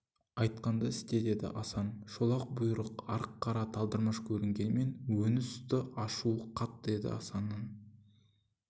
айтқанды істе деді асан шолақ бұйырып арық қара талдырмаш көрінгенімен өңі сұсты ашуы қатты еді асанның